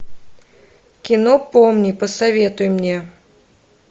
кино помни посоветуй мне